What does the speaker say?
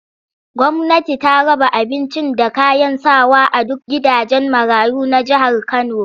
Gwamnati ta raba abincin da kayan sawa a duk gidajen marayu na jihar Kano